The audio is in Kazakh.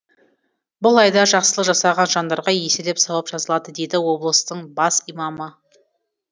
бұл айда жақсылық жасаған жандарға еселеп сауап жазылады дейді облыстың бас имамы